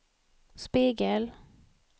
spegel